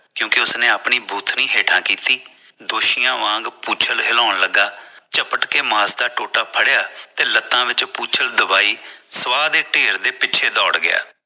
ਕਉਂਕਿ ਉਸਨੇ ਆਪਣੀ ਬੂਥਨੀ ਹੇਠਾਂ ਕੀਤੀ ਦੋਸ਼ੀਆਂ ਵਾਂਗ ਪੂੰਛ ਹਿਲਾਨ ਲਗਾ ਝਪਟਕੇ ਮਾਸ ਦਾ ਟੋਟਾ ਫੜਿਆ ਤੇ ਲੱਤਾਂ ਵਿੱਚ ਪੁੰਛ ਦਬਾਈ ਤੇ ਸਵਾਹ ਦੇ ਢੇਰ ਪਿੱਛੇ ਦੌਰ ਗਿਆ